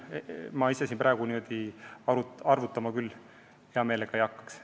Ma ise praegu arvutama küll hea meelega ei hakkaks.